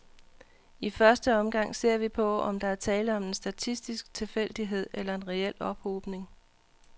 I første omgang ser vi på, om der er tale om en statistisk tilfældighed eller en reel ophobning.